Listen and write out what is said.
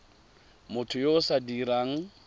motho yo o sa dirang